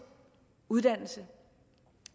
uddannelse